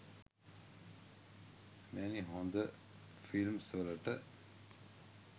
මෙවැනි හොද ෆිල්ම්ස් වලට